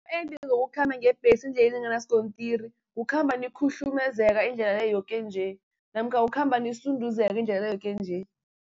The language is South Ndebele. zokukhamba ngebhesi endleleni enganaskontiri, kukhamba nikhuhlumezeka indlela le yoke nje, namkha kukhamba nisunduzeka indlela le yoke nje.